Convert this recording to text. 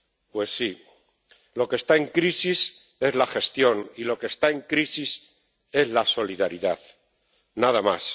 Pues sí, lo que está en crisis es la gestión y lo que está en crisis es la solidaridad, nada más.